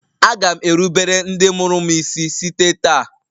Aga m erubere ndị mụrụ m isi site taa